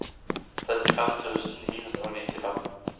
trettifem tusen ni hundre og nittifem